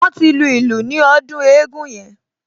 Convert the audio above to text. Wọ́n ti lu ìlù ní ọdún eégún yẹn